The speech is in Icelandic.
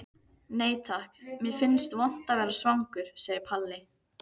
Nei takk, mér finnst vont að vera svangur, segir Palli.